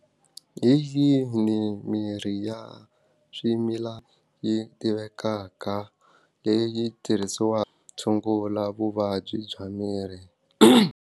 Hi yini mirhi ya swimila yi tivekaka leyi tirhisiwaka ku tshungula vuvabyi bya miri.